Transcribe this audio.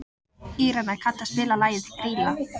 Írena, kanntu að spila lagið „Grýla“?